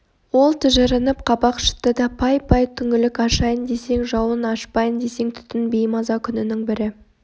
ол тыжырынып қабақ шытты да пай-пай түңілік ашайын десең жауын ашпайын десең түтін беймаза күнінің бірі